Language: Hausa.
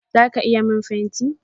Zaka iya min fenti?